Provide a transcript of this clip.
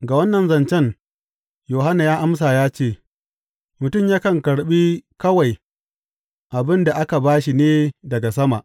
Ga wannan zancen Yohanna ya amsa ya ce, Mutum yakan karɓi kawai abin da aka ba shi ne daga sama.